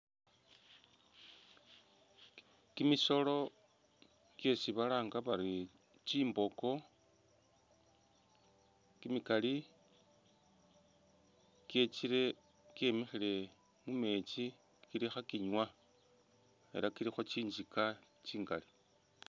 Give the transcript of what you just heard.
Kimisolo kyesi balanga bari tsimboko kimikali kyetsile kyemikhile mu meetsi kili khakinywa ela kulikho tsinzika tsingali.